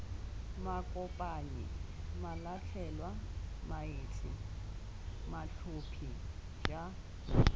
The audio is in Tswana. makopanyi malatlhelwa maetsi matlhophi j